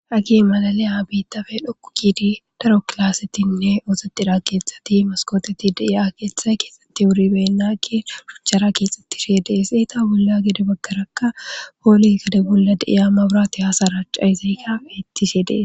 Hagee malaliya biiththa bee7okko giidi daro klaasethinne ooseththida keeththathi meskkoothethi de7iyaba keeththay keexeththi wuribeenna; keexuwa gujjana geetheththi de7ees; eetha bolla gede baggarakka bida bollara de7iya mabraathee haa saracca7eesi; ika beeththishe de7ees.